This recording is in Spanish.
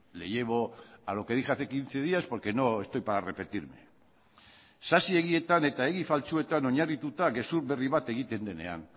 le llevo a lo que dije hace quince días porque no estoy para repetirme sasi egietan eta egi faltsuetan oinarrituta gezur berri bat egiten denean